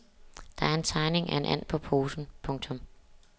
Der er en tegning af en and på posen. punktum